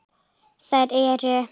Þær eru